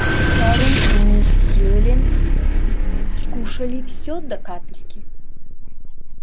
кэррин и мисс сьюлин скушали всё до капельки